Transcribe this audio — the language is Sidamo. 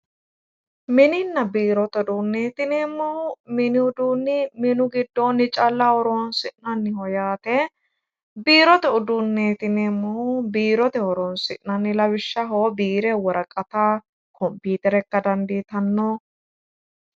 Mininna biirote uduuneti yineemmohu, minihu mini giddonni calla horonsi'nanniho yaate ,biirote uduuneti yineemmohu biirote horonsi'nanni lawishshaho biire worqatta konpitere ikka dandiittano.